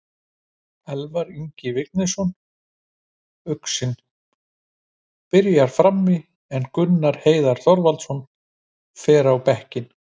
Elvar Ingi Vignisson, uxinn, byrjar frammi en Gunnar Heiðar Þorvaldsson fer á bekkinn.